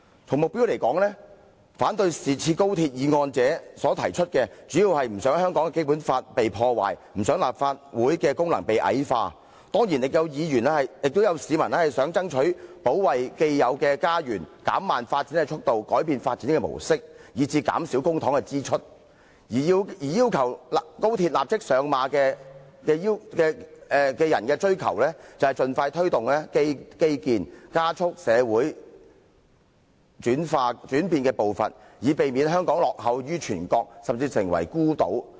從目標來說，反對《條例草案》者所提出的，主要是不想香港的《基本法》被破壞，不想立法會的功能被矮化，當然亦有市民是想爭取保衞既有的家園、減慢發展的速度、改變發展的模式，以至減少公帑的支出；而要求高鐵立即上馬者所追求的，則是盡快推動基建、加速社會轉變步伐，以免香港落後於全國，甚至成為孤島。